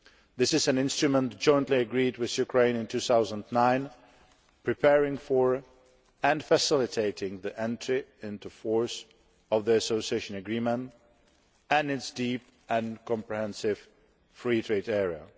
This is an instrument jointly agreed with Ukraine in 2009, preparing for and facilitating the entry into force of the Association Agreement and its Deep and Comprehensive Free Trade Area.